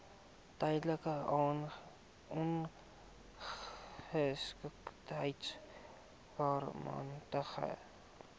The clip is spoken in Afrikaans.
tydelike ongeskiktheid permanente